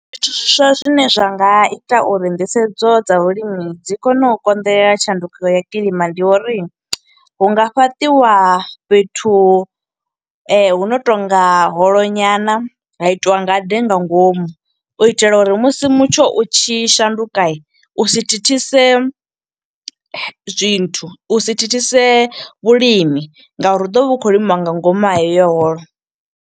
Zwithu zwiswa zwine zwa nga ita uri nḓisedzo dza vhulimi, dzi kone u konḓelelela tshanduko ya kilima, ndi uri hu nga fhaṱiwa fhethu hu no tonga holo nyana, ha itiwa ngade nga ngomu. U itela uri musi mutsho utshi shanduka, u si thithise zwinthu, u si thithise vhulimi nga uri hu ḓovha hu khou limiwa nga ngomu ha heyo holo.